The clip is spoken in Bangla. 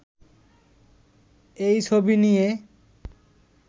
এই ছবি নিয়ে